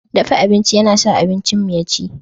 Dafa abinci yana sa abincinmu ya ci.